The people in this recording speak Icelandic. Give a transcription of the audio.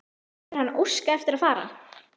Hefur hann óskað eftir að fara?